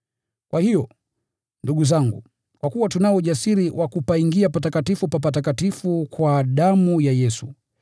Kwa hiyo, ndugu zangu, kwa kuwa tunao ujasiri wa kupaingia Patakatifu pa Patakatifu kwa damu ya Yesu,